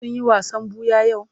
Sun yi wasan ɓuya yau?